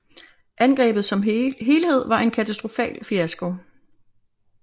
Angrebet som helhed var en katastrofal fiasko